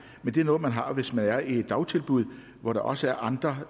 men det er noget man har hvis man er i et dagtilbud hvor der også er andre